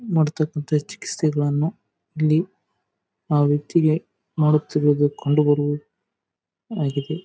Feeding bottle ಇದು ಮೇಲ್ಗಡೆದು cover ಇರುತ್ತಲ ಆತರ ಕೂಡಾ ಕಾಣಿಸ್ತದೆ.